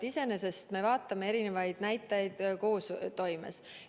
Iseenesest me vaatame eri näitajaid koostoimes.